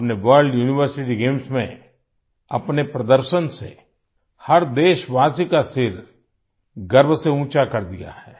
आपने world university games में अपने प्रदर्शन से हर देशवासी का सिर गर्व से ऊँचा कर दिया है